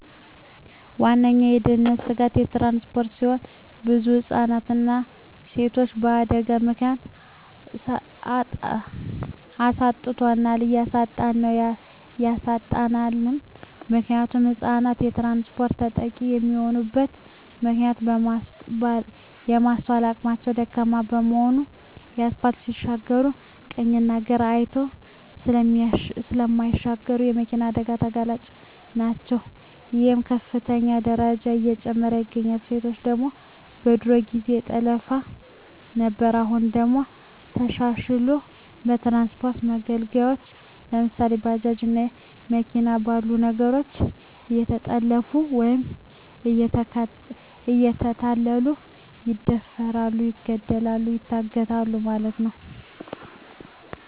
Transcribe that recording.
ዋነኛዉ የድህንነት ስጋት ትራንስፖርት ሲሆን ብዙ ህፃናትንና ሴቶችን በአደጋ ምክንያት አሳጥቶናል እያሳጣን ነዉ ያሳጣናልም። ምክንያቱም ህፃናት በትራንስፖርት ተጠቂ የሚሆኑበት ምክንያት የማስትዋል አቅማቸዉ ደካማ በመሆናቸዉ አስፓልት ሲሻገሩ ቀኝና ግራ አይተዉ ስለማይሻገሩ ለመኪና አደጋ ተጋላጭ ናቸዉ ይሄም በከፍተኛ ደረጃ እየጨመረ ይገኛል። ሴቶች ደግሞ በድሮ ጊዜ በጠለፋ ነበር አሁን ደግሞ ተሻሽልሎ በትራንስፖርት መገልገያወች ለምሳሌ፦ ባጃጅ እና መኪና ባሉ ነገሮች እየተጠለፊፉ ወይም እየተታለሉ ይደፈራሉ ይገደላሉ ይታገታሉ ማለት ነዉ።